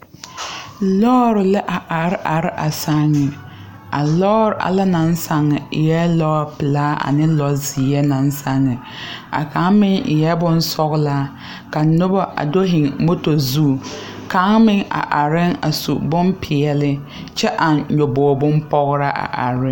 Lɔɔre la are are a sããŋ a lɔɔre alɛ na sãŋ eɛɛ lɔɔpilaa ane lɔzeɛ naŋ sane a kaŋ meŋ eɛɛ bonsɔglaa ka noba a do hiŋ moto zu kaŋ meŋ a areɛɛ a su bonpeɛɛle kyɛ aŋ nyobo meŋ pograa a are.